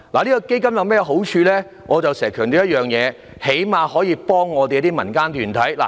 這個基金的好處是至少可以幫助我們的民間團體。